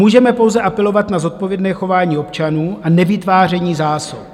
Můžeme pouze apelovat na zodpovědné chování občanů a nevytváření zásob.